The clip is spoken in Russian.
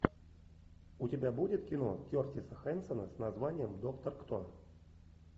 у тебя будет кино кертиса хэнсона с названием доктор кто